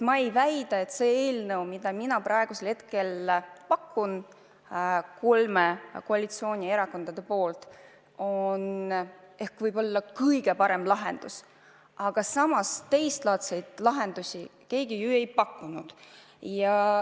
Ma ei väida, et see eelnõu, mida ma praegu kolme koalitsioonierakonna poolt pakun, on kõige parem lahendus, aga samas teistlaadseid lahendusi keegi pole pakkunud.